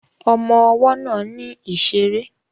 Ọmọ ọwọ́ náà ní ìṣeré